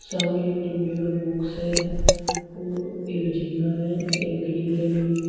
सामने एक डिब्बे का बॉक्स है और एक जीना है एक ग्रिल लगी हुई है।